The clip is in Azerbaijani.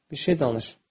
Bir şey danış.